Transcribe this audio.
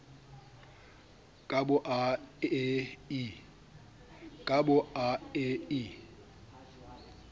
ka bo a e i